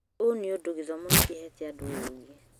ũũ nĩũndũ gĩthomo nĩkĩhete andũ ũũgĩ